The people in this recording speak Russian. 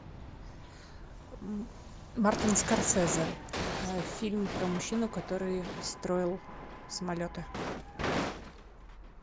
мартин скорсезе фильм про мужчину который строил самолеты